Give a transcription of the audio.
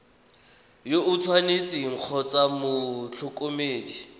yo o tshwanetseng kgotsa motlhokomedi